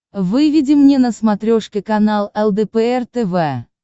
выведи мне на смотрешке канал лдпр тв